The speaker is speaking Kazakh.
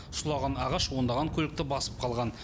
сұлаған ағаш ондаған көлікті басып қалған